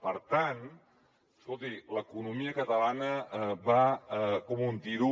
per tant escolti l’economia catalana va com un tiro